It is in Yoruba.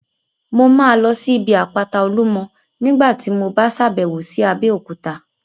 Mo máa lọ sí ibi àpáta Olúmọ ní nígbàtí mo bá sàbẹ̀wo lọ sí Abéòkúta